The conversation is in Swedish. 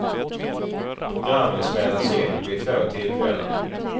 Programmen spelas in vid två tillfällen.